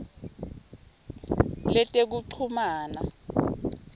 letekuchumana